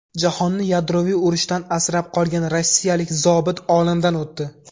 Jahonni yadroviy urushdan asrab qolgan rossiyalik zobit olamdan o‘tdi.